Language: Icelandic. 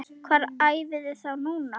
Hvar æfiði þá núna?